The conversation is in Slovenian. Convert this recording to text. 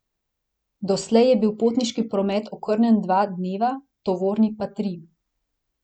Doslej je bil potniški promet okrnjen dva dneva, tovorni pa tri.